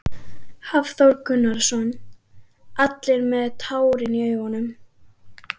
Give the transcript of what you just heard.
Hafþór Gunnarsson: Allir með tárin í augunum?